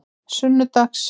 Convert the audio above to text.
sunnudags